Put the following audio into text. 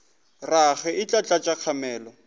rage e tla tlatša kgamelo